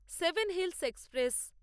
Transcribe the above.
seven hills express